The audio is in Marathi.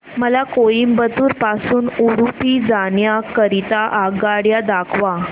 मला कोइंबतूर पासून उडुपी जाण्या करीता आगगाड्या दाखवा